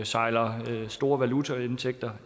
sejler store valutaindtægter